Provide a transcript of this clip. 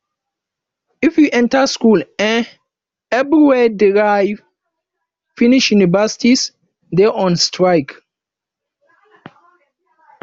if you enter school eh everywhere dry finish universities dey on strike